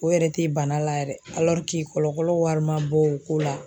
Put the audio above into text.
O yɛrɛ tɛ bana la yɛrɛ kɔlɔkɔlɔ wari ma bɔ o ko la.